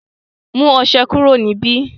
mú ọṣẹ kúrò níbí